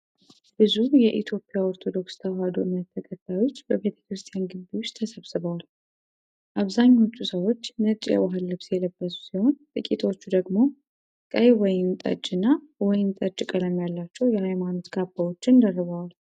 ብዙ የኢትዮጵያ ኦርቶዶክስ ተዋሕዶ እምነት ተከታዮች በቤተ ክርስቲያን ግቢ ውስጥ ተሰብስበዋል። አብዛኞቹ ሰዎች ነጭ የባህል ልብስ የለበሱ ሲሆን፣ ጥቂቶች ደግሞ ቀይ ወይን ጠጅ እና ወይን ጠጅ ቀለም ያላቸው የሀይማኖት ካባዎችን ደርበዋል።